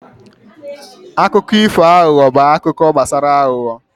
Akụkọ ifo aghụghọ bụ akụkọ gbasara aghụghọ.